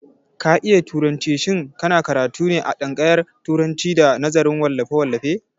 Ka iya turanci, shin ka na karatu ne a tsangaryan turacin da nazarin wallafe-wallafe?